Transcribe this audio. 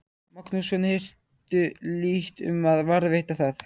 Magnússon, hirtu lítt um að varðveita það.